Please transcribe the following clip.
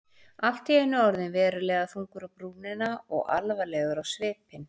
Allt í einu orðinn verulega þungur á brúnina og alvarlegur á svipinn.